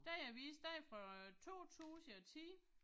Den avis den er fra 2010